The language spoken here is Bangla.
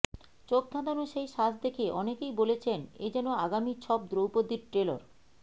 চোখধাঁধানো সেই সাজ দেখে অনেকেই বলেছেন এ যেন আগামী ছব দ্রৌপদীর ট্রেলর